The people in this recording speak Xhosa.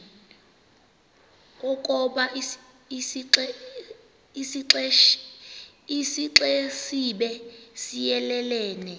ukoba isixesibe siyelelene